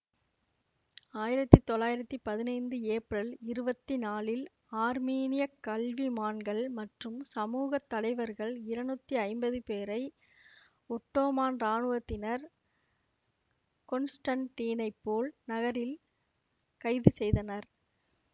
ஆயிரத்தி தொள்ளாயிரத்தி பதினைந்து ஏப்ரல் இருவத்தி நாலில் ஆர்மீனியக் கல்விமான்கள் மற்றும் சமூக தலைவர்கள் இருநூத்தி ஐம்பது பேரை ஒட்டோமான் இராணுவத்தினர் கொன்ஸ்டண்டீனைப்போல் நகரில் கைது செய்தனர்